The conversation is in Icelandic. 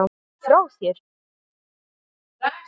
Ertu frá þér!